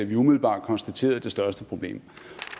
vi umiddelbart konstaterede det største problem